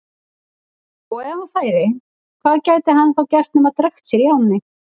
Og ef hann færi, hvað gæti hann þá gert nema drekkt sér í ánni?